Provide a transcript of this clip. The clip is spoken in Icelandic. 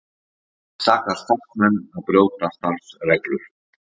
Sakar starfsmenn að brjóta starfsreglur